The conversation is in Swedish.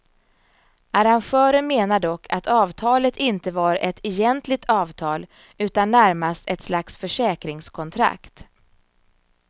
Arrangören menar dock att avtalet inte var ett egentligt avtal utan närmast ett slags försäkringskontrakt.